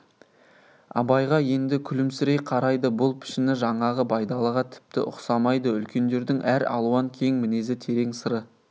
абайға енді күлімсірей қарайды бұл пішіні жаңағы байдалыға тіпті ұқсамайды үлкендердің әр алуан кең мінезі терең сыры